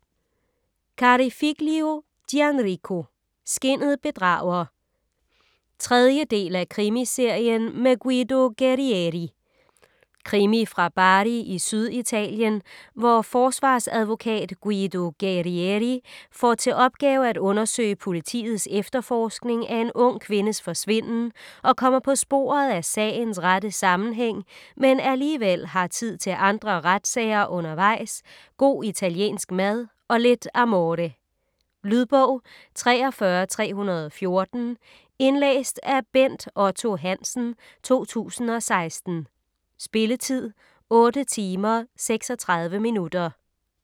Carofiglio, Gianrico: Skinnet bedrager 3. del af Krimiserien med Guido Guerrieri. Krimi fra Bari i Syditalien, hvor forsvarsadvokat Guido Guerrieri får til opgave at undersøge politiets efterforskning af en ung kvindes forsvinden og kommer på sporet af sagens rette sammenhæng, men alligevel har tid til andre retssager undervejs, god italiensk mad og lidt amore. . Lydbog 43314 Indlæst af Bent Otto Hansen, 2016. Spilletid: 8 timer, 36 minutter.